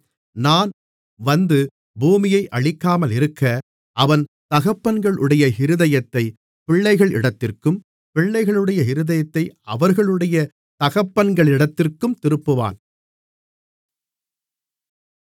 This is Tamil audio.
நான் வந்து பூமியை அழிக்காமலிருக்க அவன் தகப்பன்களுடைய இருதயத்தைப் பிள்ளைகளிடத்திற்கும் பிள்ளைகளுடைய இருதயத்தை அவர்களுடைய தகப்பன்களிடத்திற்கும் திருப்புவான்